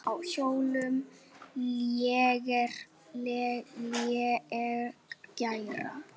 Á hjólum léleg græja.